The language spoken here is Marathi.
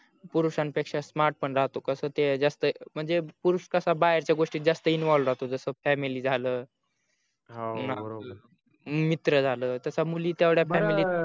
पुरुषाण पेक्षा smart पण राहतो कस ते जास्त म्हणजे पुरुष कसा बाहेरच्या गोष्टीत जास्त involve राहतो जस family झाल हो बरोबर आहे मित्र झाल तस मुली तेवड्या